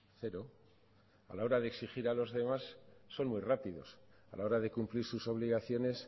cero a la hora de exigir a los demás son muy rápidos a la hora de cumplir sus obligaciones